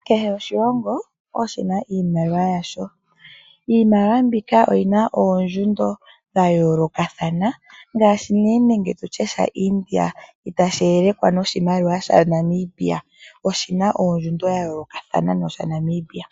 Kehe oshilongo oshina iimaliwa yasho. Iimaliwa mbika oyi na oondjundo dha yoolokathana, ngaashi oshimaliwa shaIndia itashi yelekwa noshimaliwa shaNamibia oshina ondjundo ya yoolokathana no shaNamibia.